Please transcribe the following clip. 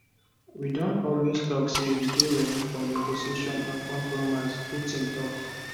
we don always tok say we dey ready for negotiations and compromise putin tok